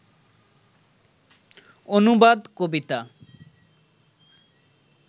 অনুবাদ কবিতা